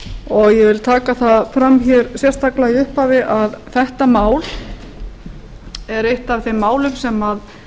og ég vil taka það fram hér sérstaklega í upphafi að þetta mál er eitt af þeim málum sem